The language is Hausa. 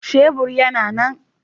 Shebur yana nan